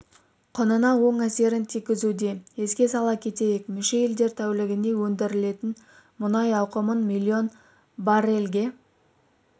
құнына оң әсерін тигізуде еске сала кетейік мүше елдер тәулігіне өндірілетін мұнай ауқымын миллион баррельге